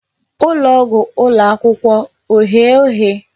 Ụlọ ọgwụ ụlọ akwụkwọ oghe oghe?